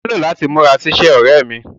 Ó nílò láti múra sí iṣẹ́, ọ̀rẹ́ ẹ́ mí.